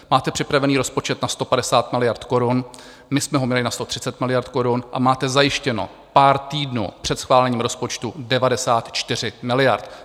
Máte připravený rozpočet na 150 miliard korun, my jsme ho měli na 130 miliard korun, a máte zajištěno pár týdnů před schválením rozpočtu 94 miliard.